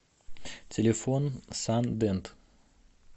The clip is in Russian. телефон сан дент